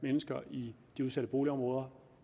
mennesker i de udsatte boligområder